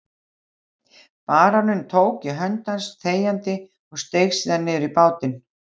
Baróninn tók í hönd hans þegjandi og steig síðan niður í bátinn.